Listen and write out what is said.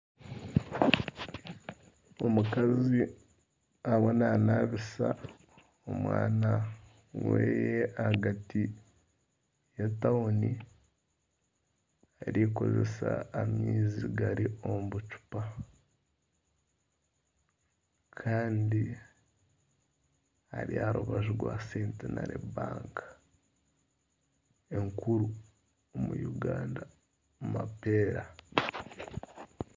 Omukazi ariyo nanabisa omwana wehe ahagati y'etauni arikukores amaizi gari omu bucupa kandi Ari aha rubaju rwa Centinary Bank enkuru omu Uganda mapera